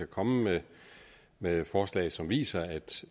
komme med forslag som viser at